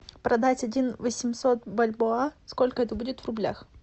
продать один восемьсот бальбоа сколько это будет в рублях